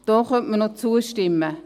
Da könnte man noch zustimmen.